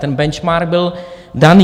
Ten benchmark byl daný.